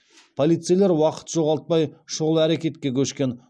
полицейлер уақыт жоғалтпай шұғыл әрекетке көшкен